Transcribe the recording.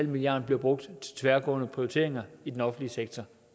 milliard bliver brugt til tværgående prioriteringer i den offentlige sektor